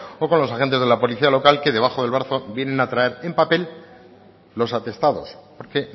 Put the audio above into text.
o con los agentes de la policía local que debajo del brazo vienen a traer en papel los atestados porque